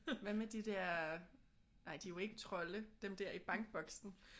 Hvad med de der nej de er jo ikke trolde dem der i bankboksen?